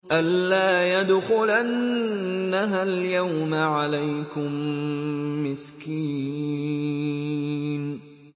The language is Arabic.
أَن لَّا يَدْخُلَنَّهَا الْيَوْمَ عَلَيْكُم مِّسْكِينٌ